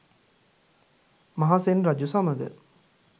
මහසෙන් රජු සමඟ